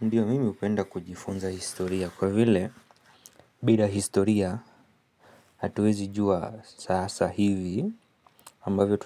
Ndiyo mimi hupenda kujifunza historia kwa vile bila historia hatuwezi jua sasa hivi ambavyo